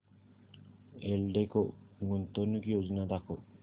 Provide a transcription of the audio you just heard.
एल्डेको गुंतवणूक योजना दाखव